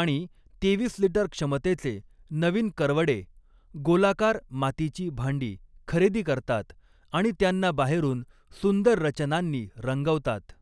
आणि तेवीस लिटर क्षमतेचे नवीन करवडे गोलाकार मातीची भांडी खरेदी करतात आणि त्यांना बाहेरून सुंदर रचनांनी रंगवतात.